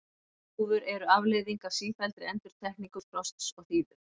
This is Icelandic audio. Þúfur eru afleiðing af sífelldri endurtekningu frosts og þíðu.